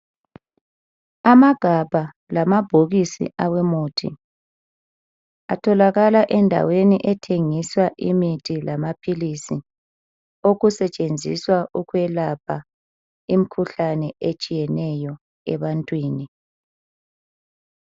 Amagabha lamabhokisi awemuthi, atholakala endaweni ethengiswa imithi lamaphilisi okusetshenziswa ukwelapha imkhuhlane etshiyeneyo ebantwini.